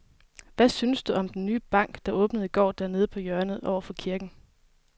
Hvad synes du om den nye bank, der åbnede i går dernede på hjørnet over for kirken?